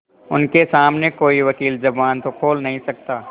उनके सामने कोई वकील जबान तो खोल नहीं सकता